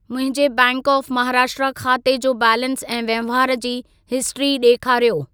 मुंहिंजे bank of Maharashtra ख़ाते जो बैलेंस ऐं वहिंवार जी हिस्ट्री ॾेखारियो।